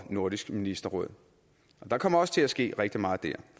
nordisk ministerråd og der kommer også til at ske rigtig meget der